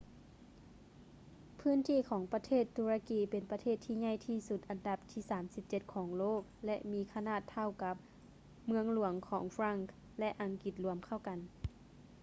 ພື້ນທີ່ຂອງປະເທດຕຸລະກີເປັນປະເທດທີ່ໃຫຍ່ທີ່ສຸດອັນດັບທີ 37 ຂອງໂລກ ແລະ ມີຂະໜາດເທົ່າກັບ ເມືອງຫຼວງຂອງຝຣັ່ງ ແລະ ອັງກິດລວມເຂົ້າກັນ